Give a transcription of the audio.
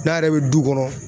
N'a yɛrɛ bɛ du kɔnɔ.